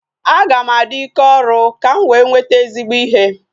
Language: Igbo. Aga m adị ike ọrụ ka m wee nweta ezigbo ihe